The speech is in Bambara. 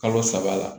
Kalo saba la